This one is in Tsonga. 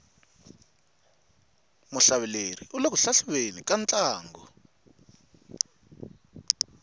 muhlaveleri ule ku hlahluveni ka ntlangu